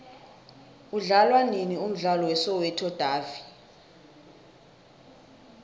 udlalwanini umdlalo we soweto davi